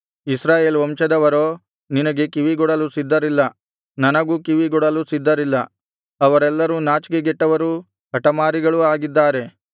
ಇಸ್ರಾಯೇಲ್ ವಂಶದವರೋ ನಿನಗೆ ಕಿವಿಗೊಡಲು ಸಿದ್ಧರಿಲ್ಲ ನನಗೂ ಕಿವಿಗೊಡಲು ಸಿದ್ಧರಿಲ್ಲ ಅವರೆಲ್ಲರೂ ನಾಚಿಕೆಗೆಟ್ಟವರೂ ಹಟಮಾರಿಗಳು ಆಗಿದ್ದಾರೆ